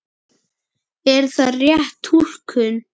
Er það rétt túlkun?